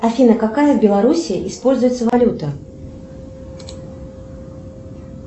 афина какая в белоруссии используется валюта